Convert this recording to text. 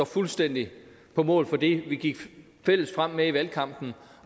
fuldstændig på mål for det vi gik fælles frem med i valgkampen